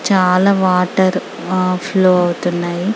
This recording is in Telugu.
చాల వాటర్ ఫ్లో ఆహ్ అవుతున్నాయ--